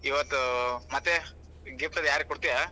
ಈವತ್ ಮತ್ತೇ gift ಅದ್ ಯಾರಿಗ್ ಕೋಡ್ತೀಯಾ?